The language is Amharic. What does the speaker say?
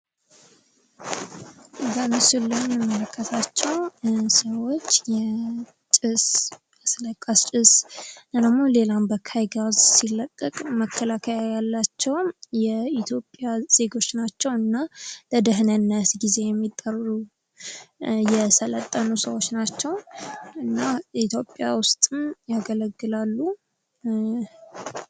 በምስሉ ላይ የምንመልከታቸው ሰዎች ጭስ አስለቃሽ ጭስ እንዲሁም ሌላ በካኝ ጋዝ ሲለቀቅ መከላከያ ያላቸውን የኢትዮጵያ ዜጎች ናቸው ።እና ለድህነት ጊዜ የሚጠሩ የስለጠኑ ሰዎች ናቸው። እና የኢትዮጵያ ውስጥ ያገለግላሉ።